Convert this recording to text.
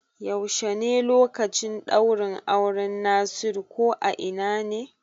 Yaushe ne lokacin ɗaurin auran Nasiru ko a ina ne?